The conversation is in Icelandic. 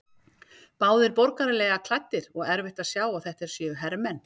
Báðir borgaralega klæddir og erfitt að sjá að þetta séu hermenn.